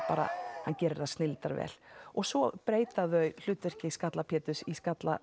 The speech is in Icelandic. gerir það og svo breyta þau hlutverki skalla Pétur í skalla